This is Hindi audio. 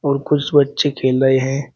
और कुछ बच्चे खेल रहे हैं।